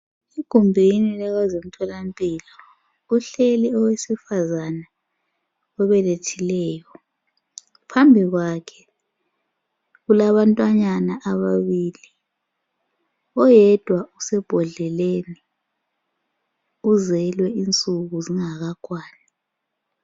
Egumbini lakwezemtholampilo kuhleli owesifazana obelethileyo. Phambikwakhe kulabantwanyana ababili, oyedwa usebhodleleni uzelwe insuku zingakakwani.